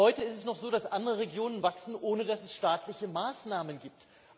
Heute ist es noch so, dass andere Regionen wachsen, ohne dass es staatliche Maßnahmen gibt.